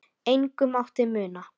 Engu mátti muna.